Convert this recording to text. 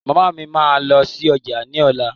Màmá mi máa lọ sí ọjà ní ọ̀la.